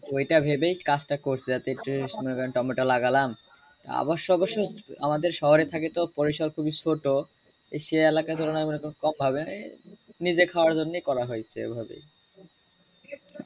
ঐ টা ভাবে কাজ টা করছি শীতের সময় টমেটো লাগালাম অবশ্য অবশ্য আমাদের শহরে থাকিত পরিসর খুবি ছোট সে এলাকা ধরুন কম ভাবে নিজের খাওয়ার জন্য করা হয়েছে ওভাবেই